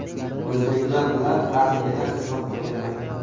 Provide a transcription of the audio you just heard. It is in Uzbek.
O‘zbeklar bilan armiyada xizmat qilganman.